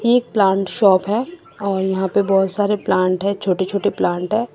ये एक plant shop है और यहां पे बहोत सारे प्लांट है छोटे छोटे प्लाट है।